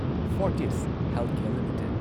Fortis healthcare limited